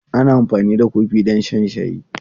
Ana amfani da kofi don shan shayi.